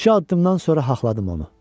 Üç-dörd addımdan sonra haqladım onu.